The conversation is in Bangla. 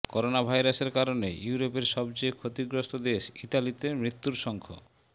করোনাভাইরাসের কারণে ইউরোপের সবচেয়ে ক্ষতিগ্রস্ত দেশ ইতালিতে মৃত্যুর সংখ্